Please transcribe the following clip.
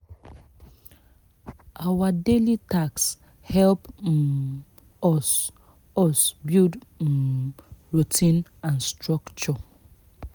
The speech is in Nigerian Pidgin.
our daily tasks help um us us build um routine and structure